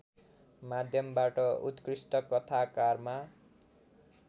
माध्यमबाट उत्कृष्ट कथाकारमा